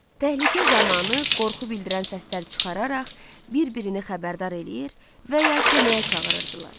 Təhlükə zamanı qorxu bildirən səslər çıxararaq bir-birini xəbərdar eləyir və ya köməyə çağırırdılar.